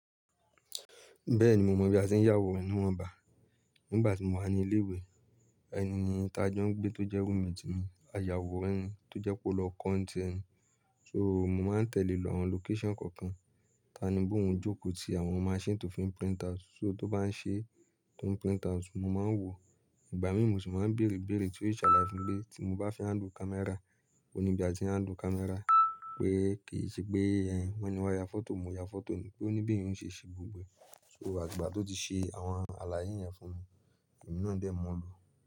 Bẹ́ẹ̀ni, mo mọ bí a ṣe ń yàwò níwọ̀n bà. Nígbà tí mo wà ní ilé ìwé, ẹni tí a jọ ń gbé tó jẹ́ roommate ti mi, aya wo ràn ní tó jẹ́ pé ó lọ kọ́ t’ẹ́ni. So mo máa ń tẹ̀le lọ àwọn location kọ̀ọ̀kan, ta ni bóun jókòó ti àwọn machine tó fi ń print out, so tó bá ń ṣe, tó ń print out, mo máa ń wò. Ìgbà mí mó sí máa ń bẹ̀rẹ̀-bẹ̀rẹ̀ tí ó sì ṣàlàyé fún mi pé tí mo bá fẹ́ handle camera, òní ibi à ti ń handle camera, pé kì í ṣe pé ẹ́, wọ́n ní wá ya photo, mo ya photo ni, òní bí èèyàn ò ṣe ṣe gbogbo ẹ. Sọ́ àti gbà tó ti ṣe àwọn àlàyé yẹn fún mi, èmi náà dẹ̀ mú lò.